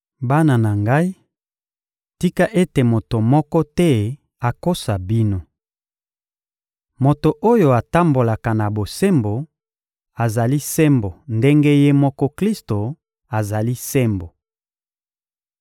Bana na ngai, tika ete moto moko te akosa bino. Moto oyo atambolaka na bosembo azali sembo ndenge Ye moko Klisto azali sembo.